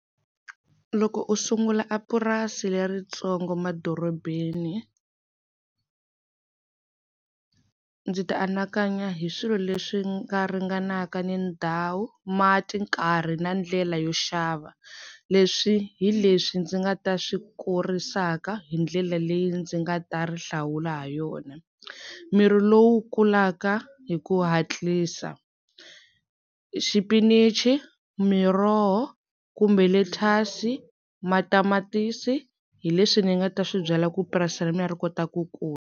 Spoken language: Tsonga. Loko u sungula a purasi leritsongo madorobeni ndzi ta anakanya hi swilo leswi nga ringanaka ni ndhawu, mati, nkarhi na ndlela yo xava leswi hi leswi ndzi nga ta swi kurisaka hi ndlela leyi ndzi nga ta ri hlawula ha yona, mirhi lowu kulaka hi ku hatlisa, xipinichi, miroho kumbe lethasi, matamatisi hi leswi ni nga ta swi byala ku purasi ra mina ri kota ku kula.